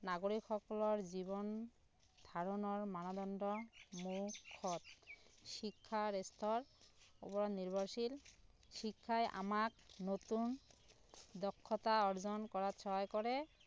নাগৰিক সকলৰ জীৱন ধাৰণৰ মানদণ্ড শিক্ষাৰ ওপৰত নিৰ্ভশীল শিক্ষায় আমাক নতুন দক্ষতা অৰ্জন কৰাত সহায় কৰে